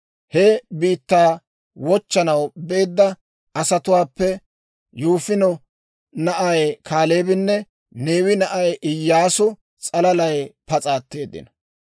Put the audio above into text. He biittaa wochchanaw beedda asatuwaappe Yifune na'ay Kaaleebinne Neewe na'ay Iyyaasu s'alalay pas'a atteeddino.